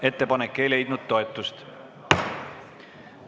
Ettepanek ei leidnud toetust.